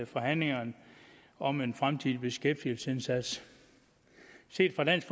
forhandlingerne om en fremtidig beskæftigelsesindsats set fra dansk